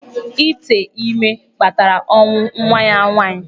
Ítè ímé kpatara ọnwụ nwa ya nwaanyị.